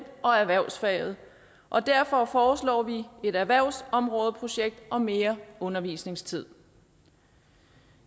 og erhvervsfaget og derfor foreslår vi et erhvervsområdeprojekt og mere undervisningstid